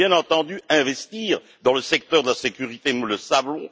Il faut, bien entendu, investir dans le secteur de la sécurité, nous le savons.